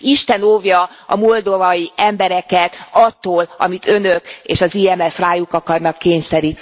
Isten óvja a moldovai embereket attól, amit Önök és az IMF rájuk akarnak kényszeríteni.